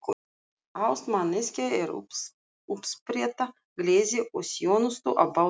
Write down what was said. Ást manneskja er uppspretta gleði og þjónustu á báðum sviðum.